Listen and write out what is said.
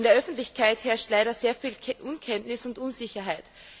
In der Öffentlichkeit herrscht leider sehr viel Unkenntnis und Unsicherheit.